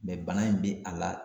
bana in bi a la